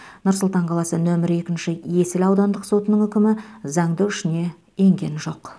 нұр сұлтан қаласы нөмір екінші есіл аудандық сотының үкімі заңды үшіне енген жоқ